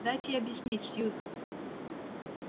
дайте объяснить сьюзен